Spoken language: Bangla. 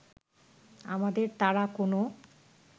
আমাদের তারা কোন